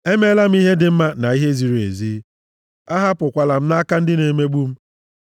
Emeela m ihe dị mma na ihe ziri ezi; ahapụkwala m nʼaka ndị na-emegbu m.